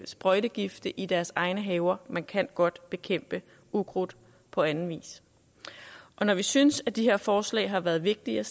sprøjtegifte i deres egne haver man kan godt bekæmpe ukrudt på anden vis når vi synes at de her forslag har været vigtige at